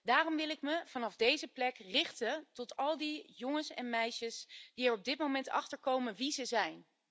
Daarom wil ik me vanaf deze plek richten tot al die jongens en meisjes die er op dit moment achter komen wie ze zijn.